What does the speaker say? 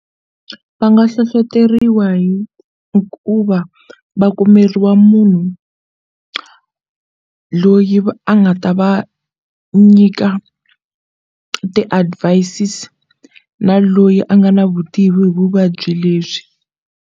Va nga hlohleteriwa hi ku va va kumeriwa munhu loyi a nga ta va nyika ti-advises na loyi a nga na vutivi hi vuvabyi lebyi.